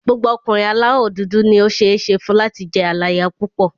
Gbogbo ọkùnrin aláwọ̀ dúdú ni ó ṣeé ṣe fún láti jẹ́ aláya púpọ̀.